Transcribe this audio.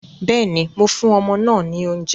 Bẹ́ẹ̀ni, mo fún ọmọ náà ní oúnjẹ